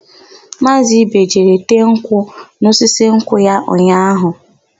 Maazị Ibe jere tee nkwụ n'osisi nkwụ ya ụnyaahụ.